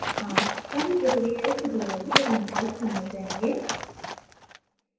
आप पूरी प्रक्रिया इस tutorial के अंत तक समझ जायेंगे